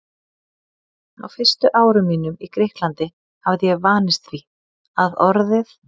Á fyrstu árum mínum í Grikklandi hafði ég vanist því, að orðið